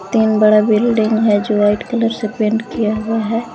तीन बड़ा बिल्डिंग है जो वाइट कलर से पेंट किया हुआ है।